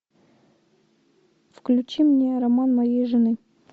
включи мне роман моей жены